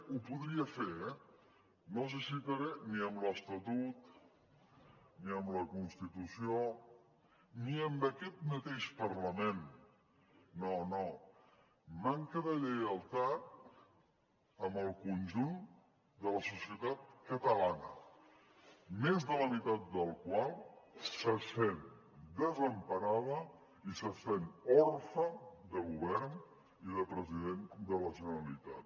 ho podria fer eh no els citaré ni amb l’estatut ni amb la constitució ni amb aquest mateix parlament no no manca de lleialtat amb el conjunt de la societat catalana més de la mitat de la qual se sent desemparada i se sent orfe de govern i de president de la generalitat